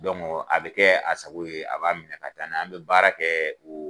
Dɔnku a bi kɛ a sago ye a b'a minɛ ka taa n'a ye an be baara kɛ o